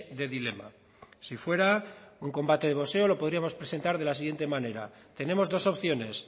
de dilema si fuera un combate de boxeo lo podríamos presentar de la siguiente manera tenemos dos opciones